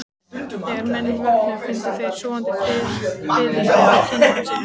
Þegar menn vöknuðu fundu þeir sofandi fiðrildi á kinnum sínum.